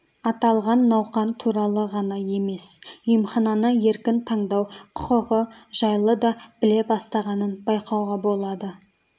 аталған науқан туралы ғана емес емхананы еркін таңдау құқығы жайлы да біле бастағанын байқауға болады